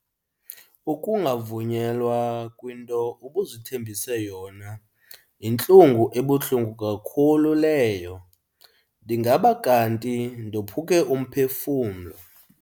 Ukungavunyelwa kwinto ubuzithembise yona yintlungu ebuhlungu kakhulu leyo, ndingaba kanti ndophuke umphefumlo.